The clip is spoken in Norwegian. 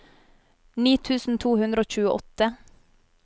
ni tusen to hundre og tjueåtte